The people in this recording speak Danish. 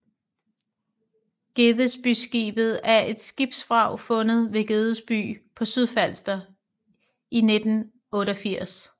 Gedesbyskibet er et skibsvrag fundet ved Gedesby på Sydfalster i 1988